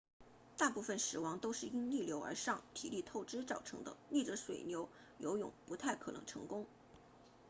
大部分死亡都是因逆流而上体力透支造成的逆着水流游泳不太可能成功